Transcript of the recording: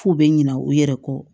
F'u bɛ ɲina u yɛrɛ kɔ